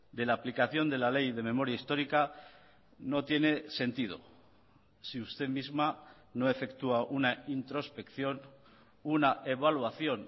de la aplicación de la ley de memoria histórica no tiene sentido si usted misma no efectúa una introspección una evaluación